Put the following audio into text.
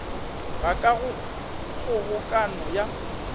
ga ka go kgobokano ya